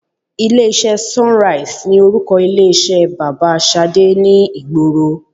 Ilé iṣẹ́ SUNRISE ni orúkọ ilé iṣẹ́ bàbá Ṣadé ni ìgboro.